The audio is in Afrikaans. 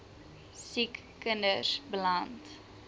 siek kinders beland